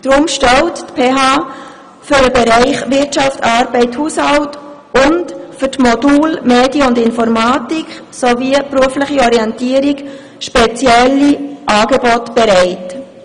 Deshalb stellt die PHBern für den Bereich Wirtschaft, Arbeit, Haushalt und für die Module Medien und Informatik sowie berufliche Orientierung spezielle Angebote bereit.